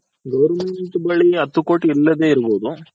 Government ಬಳಿ ಹತ್ತ್ ಕೋಟಿ ಇಲ್ಲದೆ ಇರಬಹುದು.